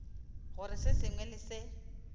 gore se sengwe le se